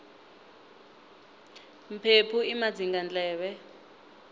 mphephu i madzingandleve